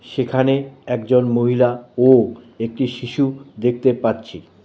সেখানে একজন মহিলা ও একটি শিশু দেখতে পাচ্ছি।